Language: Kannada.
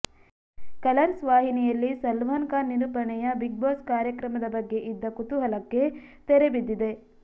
ಕಲರ್ಸ್ ವಾಹಿನಿಯಲ್ಲಿ ಸಲ್ಮಾನ್ ಖಾನ್ ನಿರೂಪಣೆಯ ಬಿಗ್ ಬಾಸ್ ಕಾರ್ಯಕ್ರಮದ ಬಗ್ಗೆ ಇದ್ದ ಕುತೂಹಲಕ್ಕೆ ತೆರೆಬಿದ್ದಿದೆ